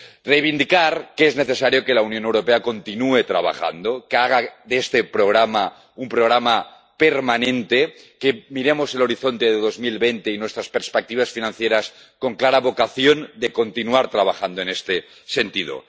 Reivindicar que es necesario que la Unión Europea continúe trabajando, que haga de este programa un programa permanente, que miremos el horizonte de 2020 y nuestras perspectivas financieras con clara vocación de continuar trabajando en este sentido.